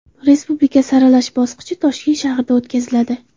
Respublika saralash bosqichi Toshkent shahrida o‘tkaziladi.